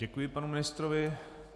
Děkuji panu ministrovi.